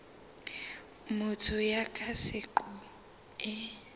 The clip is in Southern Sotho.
ya motho ka seqo e